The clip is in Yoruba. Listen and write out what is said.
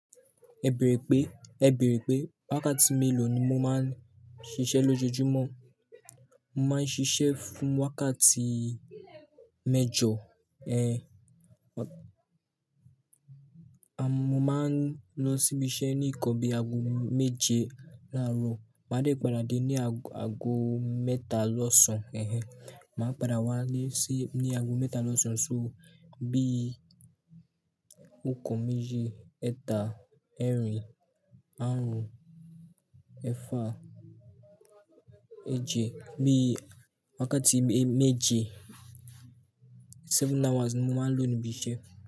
Ẹ bèrè pé, ẹ bèrè pé, wákàtí mélòó ni mo máa ń ṣiṣẹ́ lójoojúmọ́? Mo máa ń ṣiṣẹ́ fún wákàtí méjọ. Eh, mo máa ń lọ síbi iṣẹ́ ní ìkọ̀ bí i ago méje láàárọ̀. Màá dé padà dé ní ago mẹ́ta lọ́sàn Eh ehn. Màá padà wá lé sí ní ago mẹ́ta lọ́sàn, so bí okan, meji, méje, ẹta, ẹrin, àarun, ẹfa, ẹje. Bí i wákàtí méje, seven hours ni mo máa ń lọ níbi iṣẹ́